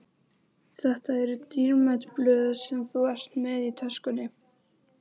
Þetta eru dýrmæt blöð sem þú ert með í töskunni.